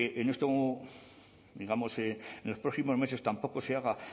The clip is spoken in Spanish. en los próximos meses tampoco se haga